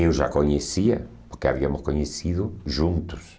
Eu já conhecia, porque havíamos conhecido juntos.